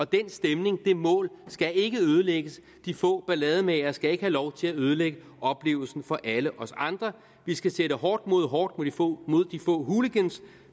den stemning og det mål skal ikke ødelægges de få ballademagere skal ikke have lov til at ødelægge oplevelsen for alle os andre vi skal sætte hårdt mod hårdt mod de få hooligans